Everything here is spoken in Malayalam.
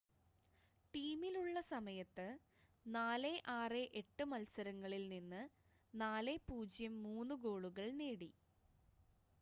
ടീമിലുള്ള സമയത്ത് 468 മത്സരങ്ങളിൽ നിന്ന് 403 ഗോളുകൾ നേടി